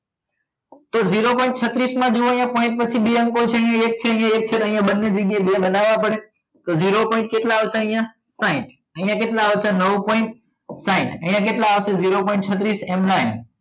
તો zero point છત્રીસ માં જુઓ અહીંયા point પછી બે અંકો છે એક છે એક છે અહીંયા બંને જગ્યાએ બનાવવા પડે તો zero point કેટલા આવશે અહીંયા સાઇઠ અહીંયા કેટલા આવશે નવ point સાઇઠ અને કેટલા આવશે zero point છત્રીસ M nine